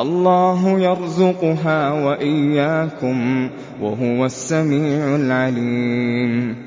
اللَّهُ يَرْزُقُهَا وَإِيَّاكُمْ ۚ وَهُوَ السَّمِيعُ الْعَلِيمُ